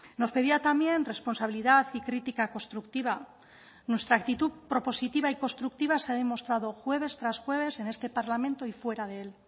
nos pedía también responsabilidad y crítica constructiva nuestra actitud propositiva y constructiva se ha demostrado jueves tras jueves en este parlamento y fuera de él